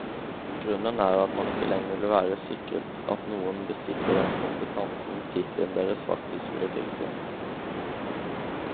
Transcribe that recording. Grunnen er at man ikke lenger vil være sikret at noen besitter den kompetansen tittelen deres faktisk skulle tilsi.